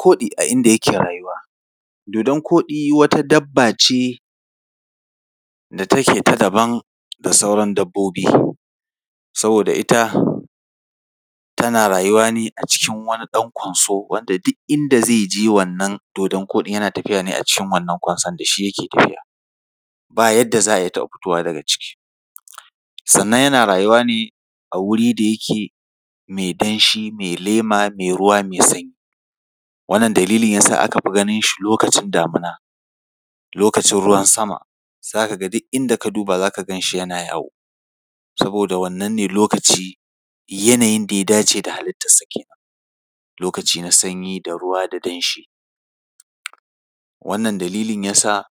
Koɗi a inda yake rayuwa. Dodon-koɗi wata dabba ce da take ta daban da sauran dabbobi. Saboda ita, tana rayuwa ne a cikin wani ɗan kwanso, wanda duk inda zai je, wannan dodon-koɗin yana tafiya ne a cikin wannan kwanson, da shi yake tafiya. Ba yadda za a yiya taɓa fitowa daga ciki. Sannan yana rayuwa ne a wuri da yake mai danshi, mai ruwa, mai lema, mai sanyi. Wannan dalilin yasa aka fi ganinshi lokacin damina. Lokacin ruwan sama, za ka ga duk inda ka duba, za ka gan shi yana yawo, saboda wannan ne lokaci, yanayin da ya dace da halittarsa kenan, lokaci na sanyi da ruwa da danshi. Wannan dalilin ya sa,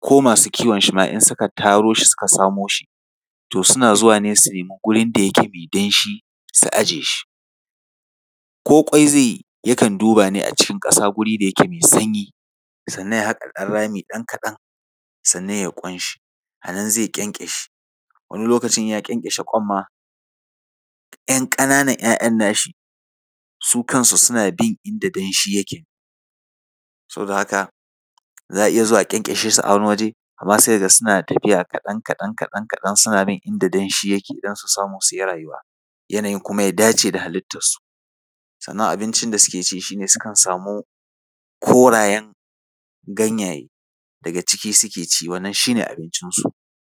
ko masu kiwon shi ma, in suka taro shi suka samo shi, to suna zuwa ne su nemi gurin da yake mai danshi, su ajiye shi. Ko ƙwai zai yi, yakan duba ne a cikin ƙasa guri da yake mai sanyi, sannan ya haƙa rami ɗan kaɗan, sannan ya yi ƙwanshi, a nan zai ƙyanƙyashe. Wani lokaci in ya ƙyanƙyashe ƙwan ma, ‘yan ƙananan ‘ya’yan nashi su kansu suna bin inda danshi yake. Saboda haka, za a iya zuwa a ƙyanƙyashe su a wani waje, amma sai ka ga suna tafiya kaɗan, kaɗan, kaɗan, kaɗan suna bin inda danshi yake don su samu su yi rayuwa, yanayin kuma ya dace da halittarsu. Sannan abincin da suke ci shi ne, sukan samu korayen ganyaye, daga ciki suke ci, wannan shi ne abincinsu.